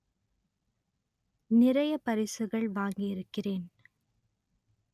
நிறைய பரிசுகள் வாங்கி இருக்கிறேன்